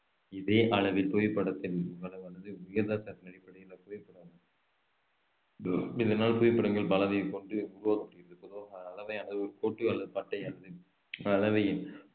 இதே அளவில் புவிப்படதின் இதனால் புவிப்படங்கள் அளவை கொண்டு உருவாக்கப்படுகிறது